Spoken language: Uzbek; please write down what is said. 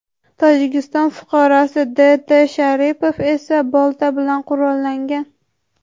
Tojikiston fuqarosi D. T. Sharipov esa bolta bilan qurollangan.